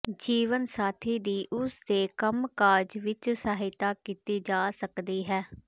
ਜੀਵਨ ਸਾਥੀ ਦੀ ਉਸਦੇ ਕੰਮਕਾਜ ਵਿੱਚ ਸਹਾਇਤਾ ਕੀਤੀ ਜਾ ਸਕਦੀ ਹੈ